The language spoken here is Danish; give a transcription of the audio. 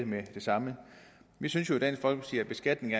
med det samme vi synes jo i dansk folkeparti at beskatning